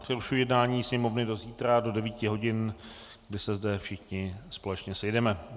Přerušuji jednání Sněmovny do zítra do 9 hodin, kde se zde všichni společně sejdeme.